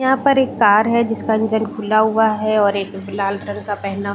यहाँ पर एक कार है जिसका इंजन खुला हुआ है और एक लाल कलर का पहना--